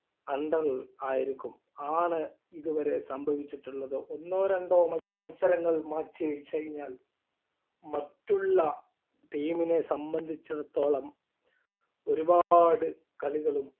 under ൽ ആയിരിക്കും ആണ് ഇതുവരെ സംഭവിച്ചിട്ടുള്ളതും ഒന്നോ രണ്ടോ മത്സരങ്ങൾ മാറ്റിവെച്ചു കഴിഞ്ഞാൽ മറ്റുള്ള team നെ സംബന്ധിച്ചിടത്തോളം ഒരുപാട് കളികളും